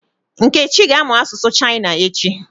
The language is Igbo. Nkechi ga-amụ asụsụ China echi.